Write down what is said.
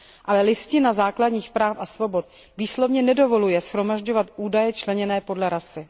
Ale Listina základních práv a svobod výslovně nedovoluje shromažďovat údaje členěné podle rasy.